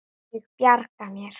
Ég bjarga mér.